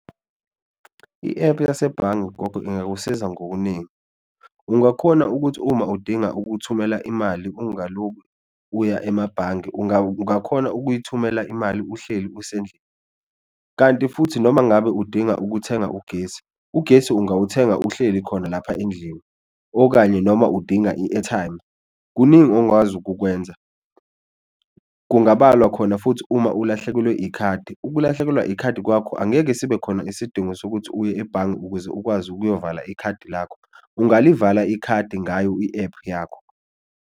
I-ephu yasebhange gogo ingakusiza ngokuningi ungakhona ukuthi uma udinga ukuthumela imali ungalokhu uya emabhange ungakhona ukuyithumela imali uhleli usendlini, kanti futhi noma ngabe udinga ukuthenga ugesi, ugesi ungawathenga uhleli khona lapha endlini okanye noma udinga i-airtime, kuningi ongawazi ukukwenza. Kungabalwa khona futhi uma ulahlekelwe ikhadi, ukulahlekelwa ikhadi kwakho angeke sibe khona isidingo sokuthi uye ebhange ukuze ukwazi ukuyovala ikhadi lakho, ungaluvala ikhadi ngayo i-ephu yakho.